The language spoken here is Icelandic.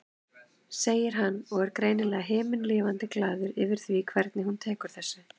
segir hann og er greinilega himinlifandi glaður yfir því hvernig hún tekur þessu.